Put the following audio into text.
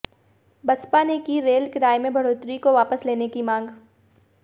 बसपा ने की रेल किराए में बढ़ोतरी को वापस लेने की मांग